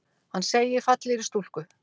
Hann segir fallegri stúlku.